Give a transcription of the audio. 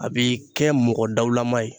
A bi kɛ mɔgɔ dawulama ye